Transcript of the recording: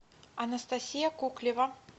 анастасия коклева